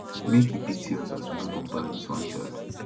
make e pity us as we no born pass dis one child